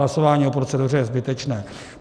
Hlasování o proceduře je zbytečné.